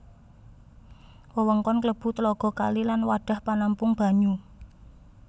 Wewengkon klebu tlaga kali lan wadhah panampung banyu